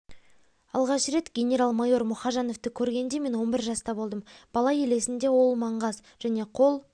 алғашқы рет генерал-майор мұхажановты көргенде мен он бір жаста болдым бала елесінде ол маңғаз және қол